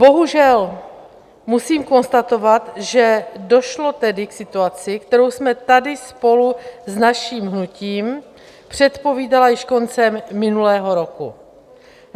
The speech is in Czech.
Bohužel musím konstatovat, že došlo tedy k situaci, kterou jsme tady spolu s naším hnutím předpovídali již koncem minulého roku.